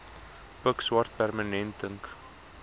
pikswart permanente ink